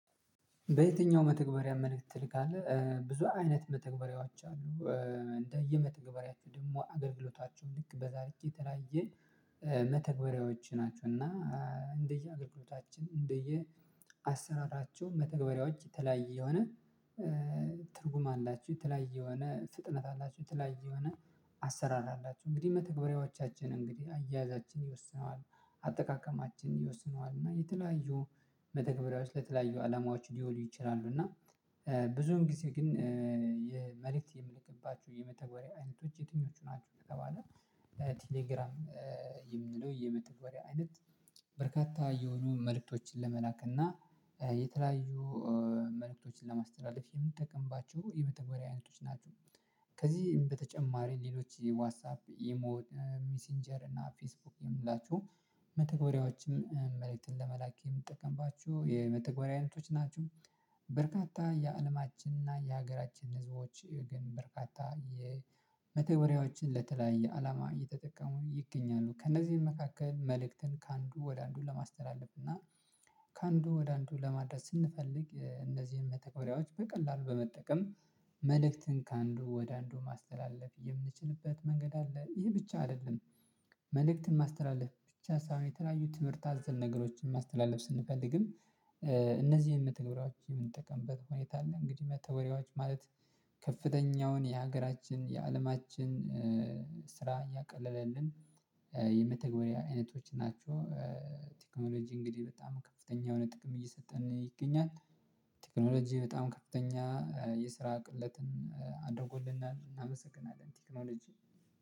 በየትኛው መተግበሪያ መልእክት ትልካለህ ብዙ አይነት መተግበሪያዎች አሉ እንደየመተገበሪያችሁ ደግሞ አገልግሎታችሁ ልክ በዚያ ልክ የተላየ። መተግበሪያዎች ናቸው እና እንደየ አገልግሎታችን እንደየ አሰራራቸው መተግበሪያዎች የተለያየ የሆነ እ ትርጉም አላችው የተለያየ የሆነ ፍጥነት አላችሁ የተለያየ የሆነ አሰራር አላችሁ። እንግዲህ መተግበሪያዎቻችን እንግዲህ አያያዛችን ይወስነዋል አጠቃቀማችን ይወስነዋል እና የተለያዩ መተግበሪያዎች ለተለያዩ አላማዎች ሊሆኑ ይችላሉ። እና ብዙም ጊዜ ግን የመልእክት የምልክባቸው የመተግበሪያ አይነቶች የትኞቹ ናችሁ? ከተባለ ቴሌግራም የሚለው የመተግበሪያ አይነት በርካታ የሆኑ መልእክቶችን ለመላክ እና የተለያዩ መልእክቶችን ለማስተላለፍ የምንጠቀምባቸው የመተግበሪያ አይነቶች ናቸው። ከዚህ በተጨማሪ ሌሎች ዋትሳፕ ኢሞ ሚሲንጀር እና ፌስቡክ የምንላቸው መተግበሪያዎችም መልእክትን ለመላክ የምጠቀምባችሁ የመተግበሪያ አይነቶች ናችው። በርካታ የአለማችንና የሀገራችን ህዝቦች ግን በርካታ የ መተግበሪያዎችን ለተለያየ አላማ እየተጠቀሙ ይገኛሉ። ከእነዚህም መካከል መልእክትን ከአንዱ ወደ አንዱ ለማስተላለፍ እና ከአንዱ ወደ አንዱ ለማድረስ ስንፈልግ እንደዚህም መተግበሪያዎች በቀላሉ በመጠቀም መልእክትን ከአንዱ ወደ አንዱ ማስተላለፍ የምንችልበት መንገድ አለ። ይሄ ብቻ አይደለም። መልእክትን ማስተላለፍ ብቻ ሳይሆን የተለያዩ ትምህርት አዘል ነገሮችን ማስተላለፍ ስንፈልግም እነዚህ መተግበሪያዎች የምትጠቀምበት ሁኔታ አለ። እንግዲህ መተግበሪያዎች ማለት ከፍተኛውን የሀገራችን የአለማችን ስራ እያቀለለልን የመተግበሪያ አይነቶች ናቸው። ቴክኖሎጂ እንግዲህ በጣም ከፍተኛ የሆነ ጥቅም እየሰጠን ይገኛል። ቴክኖሎጂ በጣም ከፍተኛ የስራ ቅለትን አደርገለትን እናመሰግናለን ቴክኖሎጂ